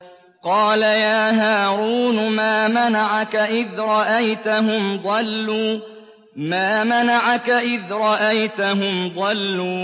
قَالَ يَا هَارُونُ مَا مَنَعَكَ إِذْ رَأَيْتَهُمْ ضَلُّوا